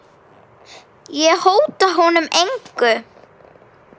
Ég hóta honum engu.